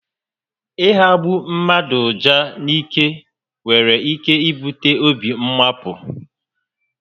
Ị hagbọ mmadụ uja n'ike nwere ike ibute obi mmapụ